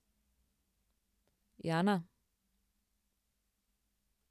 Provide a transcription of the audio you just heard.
Jana?